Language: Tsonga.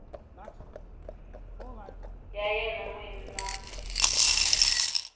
ya yena n wini na